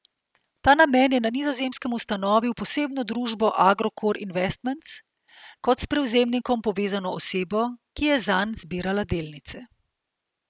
V ta namen je na Nizozemskem ustanovil posebno družbo Agrokor Investments, kot s prevzemnikom povezano osebo, ki je zanj zbirala delnice.